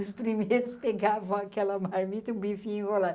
Os primeiros pegavam aquela marmita, e o bife enrolado.